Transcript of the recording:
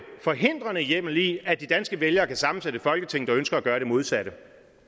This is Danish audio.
forhindrende hjemmel i at de danske vælgere kan sammensætte et folketing der ønsker at gøre det modsatte